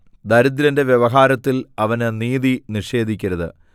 ദരിദ്രന്റെ വ്യവഹാരത്തിൽ അവന് നീതി നിഷേധിക്കരുത്